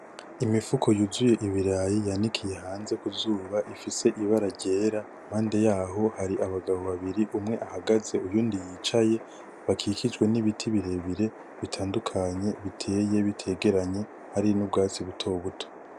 Imifuko yuzuye ibirayi yanikiye ifise ibara ryera, iruhande yaho hari abagabo babiri umwe ahagaze uyundi yicaye bakikijwe n'ibiti birebire bitandukanye biteye bitegeranye hari nubgatsi buto buto.